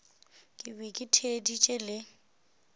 ke be ke theeditše le